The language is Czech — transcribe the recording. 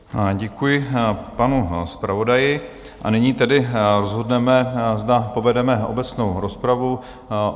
Děkuji panu zpravodaji, a nyní tedy rozhodneme, zda povedeme obecnou rozpravu.